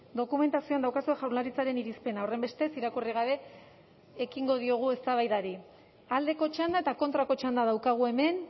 dokumentazioan daukazue jaurlaritzaren irizpena horrenbestez irakurri gabe ekingo diogu eztabaidari aldeko txanda eta kontrako txanda daukagu hemen